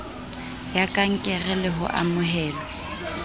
ya kankere le ho amohelwa